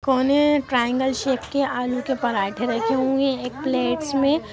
corner triangle shape के आलू के पराठे रखे हुए एक प्लेटस में--